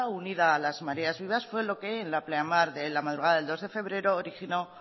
unida a las mareas vivas fue lo que en la pleamar de la madrugada del dos de febrero originó